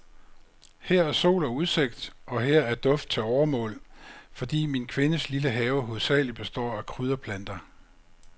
Her er sol og udsigt, og her er duft til overmål, fordi min kvindes lille have hovedsagelig består af krydderplanter.